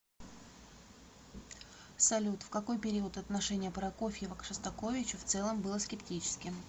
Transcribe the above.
салют в какой период отношение прокофьева к шостаковичу в целом было скептическим